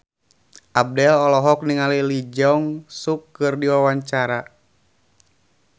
Abdel olohok ningali Lee Jeong Suk keur diwawancara